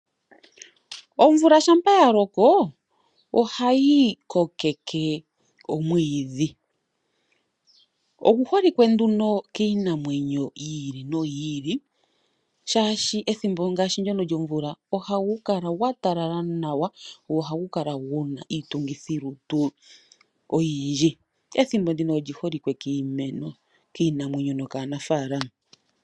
Omvula shampa ya loko ohayi kokeke omwiidhi. Ogu holike nduno kiinamwenyo yi ili noyi ili, oshoka ethimbo ngaashi ndyono lyomvula ohagu kala gwa talala nawa, go ohagu kala gu na iitungithilutu oyindji. Ethimbo ndika oli holike kiinamwenyo nokaanaafaalama.